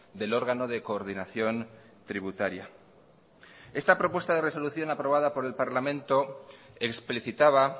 del órgano de coordinación tributaria esta propuesta de resolución aprobada por el parlamento explicitaba